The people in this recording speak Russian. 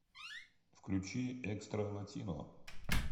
включи экстра латино